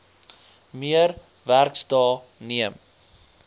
meer werksdae neem